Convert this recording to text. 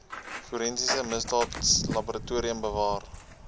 forensiese misdaadlaboratorium bewaar